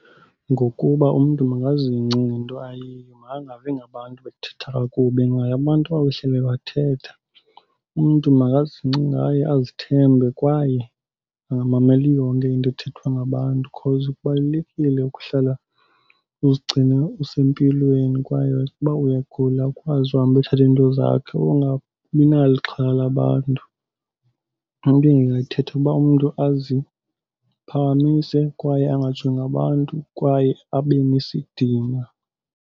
Ngokuba umntu makazingce ngento ayiyo, makangavi ngabantu bethetha kakubi ngaye. Abantu bayohleli bethetha. Umntu makazingce ngaye, azithembe kwaye angamameli yonke into ethethwa ngabantu because kubalulekile ukuhlala uzigcine usempilweni. Kwaye uba uyagula ukwazi uhamba uyothatha iinto zakho, ungabi nalo ixhala labantu. Into endingayithetha kuba umntu aziphakamise kwaye angajongi abantu kwaye abe nesidima.